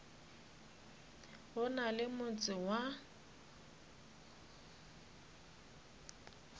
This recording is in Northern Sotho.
go na le motse wa